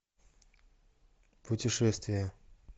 путешествия